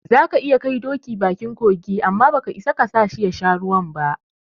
Zaka iya kai doki bakin kogi, amma baka isa kasashi yasha ruwan ba